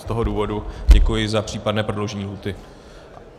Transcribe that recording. Z toho důvodu děkuji za případné prodloužení lhůty.